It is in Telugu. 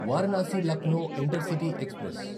Varanasi Lucknow intercity express